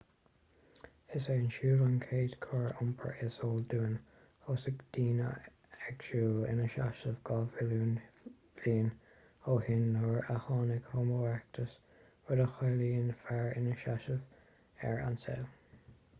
is é an siúl an chéad chóir iompair is eol dúinn thosaigh daoine ag siúl ina seasamh dhá mhilliún bliain ó shin nuair a tháinig homo erectus rud a chiallaíonn fear ina sheasamh ar an saol